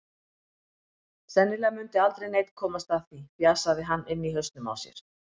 Sennilega mundi aldrei neinn komast að því, fjasaði hann inni í hausnum á sér.